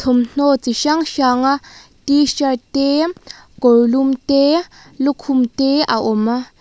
thawmhnaw chi hrang hrang t shirt te kawrlum te lukhum te a awm.